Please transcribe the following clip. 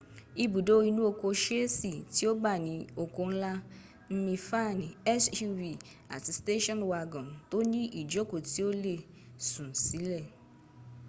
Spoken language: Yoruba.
ibudo inuoko seese ti o ba ni oko nla mnifaani suv abi station wagon to ni ijoko ti o le sun sile